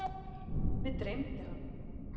Mig dreymdi hann.